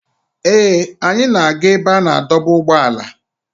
Ee, anyị na-aga ebe a na-adọba ụgbọala.